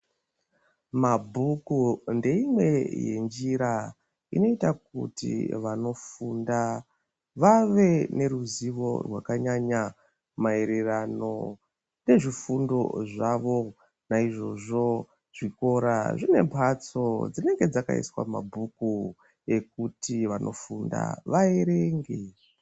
Mabhuku ndeimwe yenjira inoita kuti vanofunda vave neruzivo rwakanyanya maererano nezvifundo zvavo naizvozvo zvikora zvine mhatso dzinenge dzakaiswa mabhuku ekuti vanofunda vaerenge.